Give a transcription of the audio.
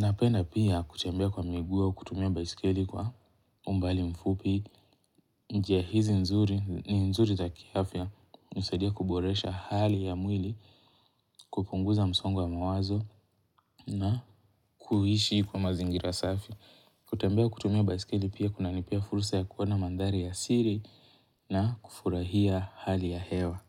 napenda pia kutembea kwa migu au kutumia baiskeli kwa umbali mfupi. Njia hizi nzuri ni nzuri za kiafya usadia kuboresha hali ya mwili. Kupunguza msongo wa mawazo na kuhishi kwa mazingira safi kutembea kutumia baisikeli pia kuna nipea furusa ya kuwona mandari ya siri. Na kufurahia hali ya hewa.